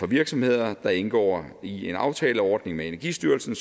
virksomheder der indgår i en aftaleordning med energistyrelsen